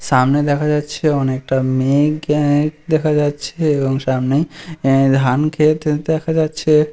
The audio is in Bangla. সামনে দেখা যাচ্ছে অনেকটা মেঘ দেখা যাচ্ছে এবং সামনে ধান ক্ষেত দেখা যাচ্ছে।